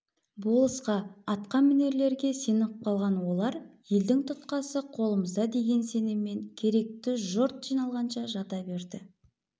болысқа атқа мінерлерге сеніп қалған олар елдің тұтқасы қолымызда деген сеніммен керекті жұрт жиналғанша жата берді